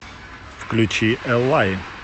включи эллаи